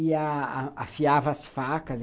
E a a afiava as facas.